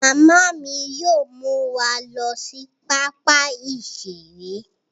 Mama mi yóò mú wa lọ sí pápá iṣere